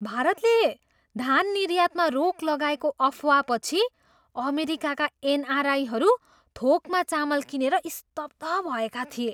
भारतले धान निर्यातमा रोक लगाएको अफवाहपछि अमेरिकाका एनआरआईहरू थोकमा चामल किनेर स्तब्ध भएका थिए।